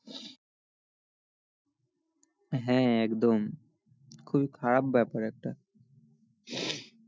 হ্যাঁ একদম খুবই খারাপ ব্যাপার এটা